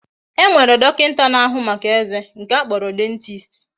E nwere dokinta na ahu Maka eze, nke a kporo dentist